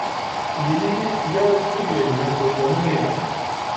Lili je ob pogledu na to onemela.